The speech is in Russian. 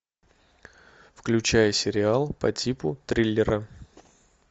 включай сериал по типу триллера